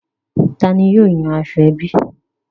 Tani yóò yan aṣọ ẹbí?